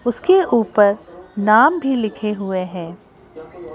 उसके ऊपर नाम भी लिखे हुए हैं।